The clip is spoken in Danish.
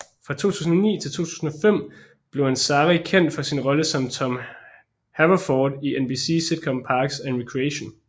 Fra 2009 til 2015 blev Ansari kendt for sin rolle som Tom Haverford i NBC sitcom Parks and Recreation